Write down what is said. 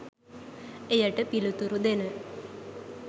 එයට පිළිතුරු දෙන